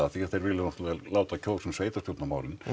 því þeir vilja náttúrulega láta kjósa um sveitarstjórnarmálin